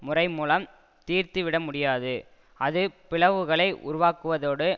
முறை மூலம் தீர்த்து விட முடியாது அது பிளவுகளை உருவாக்குவதோடு